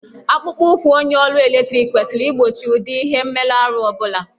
Akpụkpọụkwụ onye ọrụ eletriki kwesịrị igbochi ụdị ihe mmerụahụ ọ bụla.